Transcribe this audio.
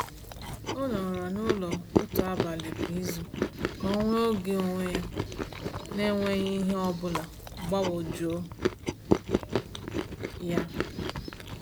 O nọrọ n’ụlọ otu abalị kwa izu ka o nwee oge onwe ya n’enweghị ihe ọ bụla gbagwojuo ya.